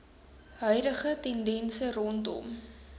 huidige tendense rondom